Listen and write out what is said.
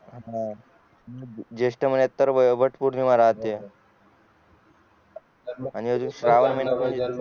हा जेष्ठ महिण्यात वट पौर्णिमा राहते आणि श्रावण महिन्यात